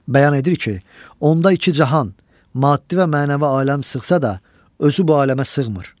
Bəyan edir ki, onda iki cahan, maddi və mənəvi aləm sığsa da, özü bu aləmə sığmır.